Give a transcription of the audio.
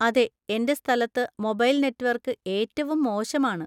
അതെ, എന്‍റെ സ്ഥലത്ത് മൊബൈൽ നെറ്റ്‌വർക്ക് ഏറ്റവും മോശമാണ്.